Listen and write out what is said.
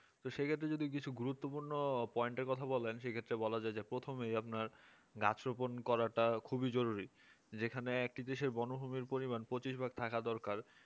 তো সেক্ষেত্রে যদি গুরুত্বপূর্ণ point এর কথা বলেন সেক্ষেত্রে বলা যাই যে প্রথমেই আপনার গাছ রোপন করাটা খুবই জরুরি যেখানে একই দেশে বনভূমির পরিমান পঁচিশ ভাগ থাকা দরকার